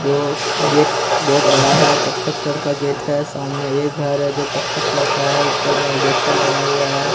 जो गेट बहोत बड़ा है कत्थक कर का गेट है सामने एक घर है जो कत्थक कलर का है ऊपर में अल्बेस्टर लगाया गया है।